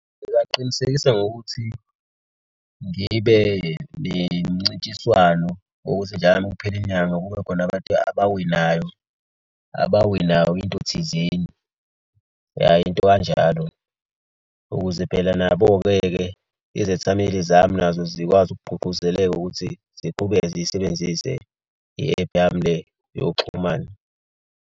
Ngingaqinisekisa ngokuthi ngibe nemincintiswano ngokuthi njalo uma kuphela inyanga kube khona abantu abawinayo abawinayo kwinto thizeni. Yah yinto ekanjalo, ukuze phela nabo-ke-ke izethameli zami nazo zikwazi ukugqugquzeleka ukuthi ziqhubeke ziy'sebenzise i-app yami le yokuxhumana.